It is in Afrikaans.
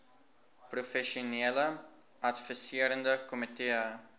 professionele adviserende komitee